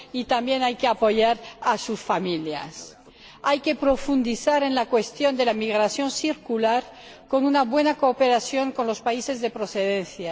y también hay que apoyar a sus familias. Hay que profundizar en la cuestión de la migración circular, con una buena cooperación con los países de procedencia.